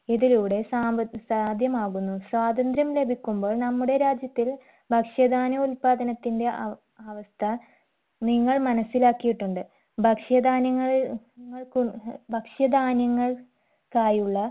ഇതിലൂടെ സാമ്പ സാധ്യമാകുന്നു സ്വാതന്ത്ര്യം ലഭിക്കുമ്പോൾ നമ്മുടെ രാജ്യത്തിൽ ഭക്ഷ്യധാനോത്പാദനത്തിന്റെ അവ അവസ്ഥ നിങ്ങൾ മനസ്സിലാക്കിയിട്ടുണ്ട് ഭക്ഷ്യധാന്യങ്ങളിൽ ങ്ങൾക്കു ഭക്ഷ്യധാന്യങ്ങൾ കായുള്ള